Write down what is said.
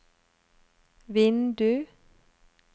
vindu